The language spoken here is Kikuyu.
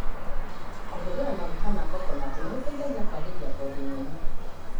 Kũhũthira maguta ma coconati nĩgũteithagia kũagĩria ngothi nyũmũ.